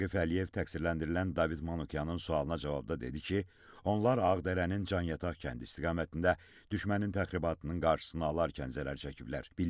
Raqif Əliyev təqsirləndirilən David Manukyanın sualına cavabda dedi ki, onlar Ağdərənin Canyataq kəndi istiqamətində düşmənin təxribatının qarşısını alarkən zərər çəkiblər.